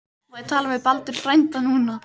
Má ég tala við Baldur frænda núna?